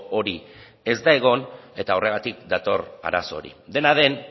hori ez da egon eta horregatik dator arazo hori dena den